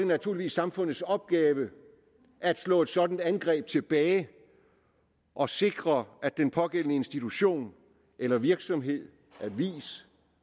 naturligvis samfundets opgave at slå et sådant angreb tilbage og sikre at den pågældende institution eller virksomhed avis